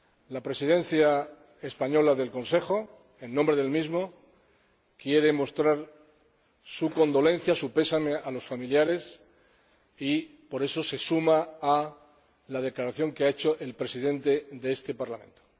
La Presidencia española del Consejo, en nombre del mismo, quiere mostrar su condolencia, su pésame, a los familiares y, por eso, se suma a la declaración que ha hecho el Presidente de este Parlamento.